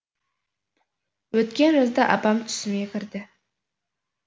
өткен жазда апам түсіме кірді